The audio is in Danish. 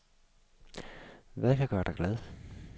Hvad kan gøre dig glad?